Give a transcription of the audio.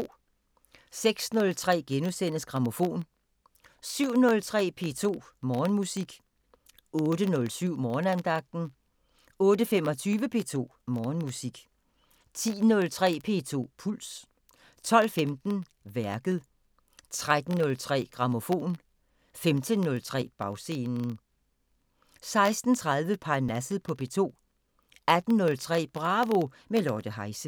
06:03: Grammofon * 07:03: P2 Morgenmusik 08:07: Morgenandagten 08:25: P2 Morgenmusik 10:03: P2 Puls 12:15: Værket 13:03: Grammofon 15:03: Bagscenen 16:30: Parnasset på P2 18:03: Bravo – med Lotte Heise